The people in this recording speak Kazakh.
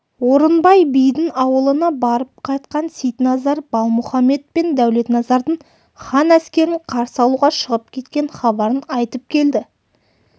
орынбай бидің аулына барып қайтқан сейтназар балмұхаммед пен дәулетназардың хан әскерін қарсы алуға шығып кеткен хабарын айтып келді